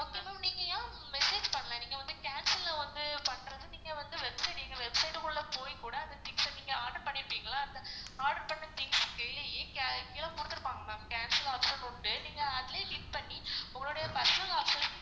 okay ma'am நீங்க ஏன் message பண்ல நீங்க வந்து cancel ல ஒன்னு பண்றது நீங்க வந்து website website குள்ள போய் கூட அந்த things அ நீங்க order பண்ணிருக்கீங்கள அந்த order பண்ண things குடுத்துருப்பாங்க ma'am cancel option உண்டு நீங்க அதுலயே click பண்ணி உங்களுடைய personal option